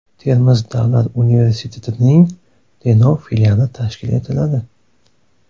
Termiz davlat universitetining Denov filiali tashkil etiladi.